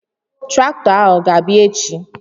Traktọ a ọ ga-abịa echi?